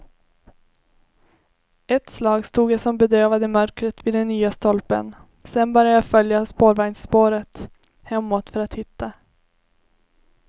Ett slag stod jag som bedövad i mörkret vid den nya stolpen, sen började jag följa spårvagnsspåret hemåt för att hitta.